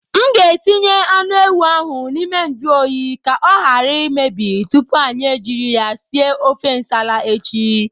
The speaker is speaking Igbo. M ga-etinye anụ ewu ahụ n'ime njụ oyi ka ọ ghara imebi tupu anyị ejiri ya sie ofe Nsala echi.